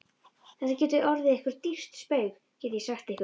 Þetta getur orðið ykkur dýrt spaug, get ég sagt ykkur!